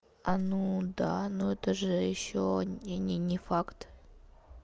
а ну да но это же ещё не не не факт